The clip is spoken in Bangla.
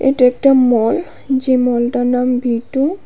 এটা একটা মল যে মলটার নাম ভী টু ।